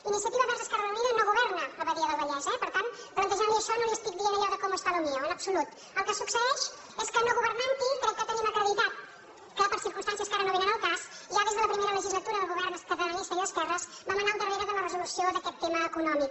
iniciativa verds esquerra unida no governa a badia del vallès per tant plantejant li això no li estic dient allò de cómo está lo mío en absolut el que succeeix és que no governant hi crec que tenim acreditat que per circumstàncies que ara no vénen al cas ja des de la primera legislatura del govern catalanista i d’esquerres vam anar al darrere de la resolució d’aquest te ma econòmic